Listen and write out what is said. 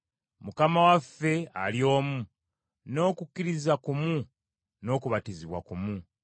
Mukama waffe ali omu, n’okukkiriza kumu n’okubatizibwa kumu.